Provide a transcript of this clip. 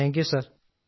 thank you sir